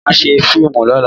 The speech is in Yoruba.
Màá ṣe fíìmù lọ́la.